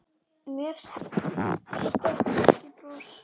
Mér stökk ekki bros.